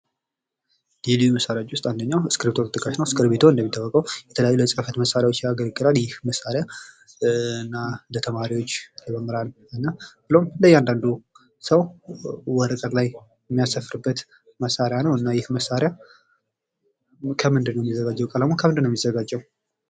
ልዩ ልዩ መሣሪያዎች ውስጥ አንደኛው እስክርቢቶ ተጠቃሽ ነው ።እስክርቢቶ እንደሚታወቀው ለተለያዩ የጽፈት መሳሪያዎች ያገለግላል ።ይህ መሣሪያ እና ለተማሪዎች ለመምህራን እና እያንዳንዱ ሰው ወረቀት ላይ የሚያሰፍርበት እና መሳሪያ ነው ። እና ይህ መሣሪያ ከምንድነው የሚዘጋጀው ቀለሙ ከምንድነው የሚዘጋጀው?